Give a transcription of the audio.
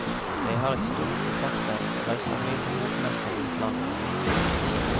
Jeg har et stort kontaktnett og reiser mye på bokmesser i utlandet.